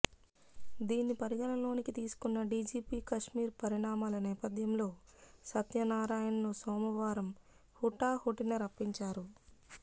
దీన్ని పరిగణలోకి తీసుకున్న డీజీపీ కశ్మీర్ పరిణామాల నేపథ్యంలో సత్యనారాయణను సోమవారం హుటాహుటిన రప్పించారు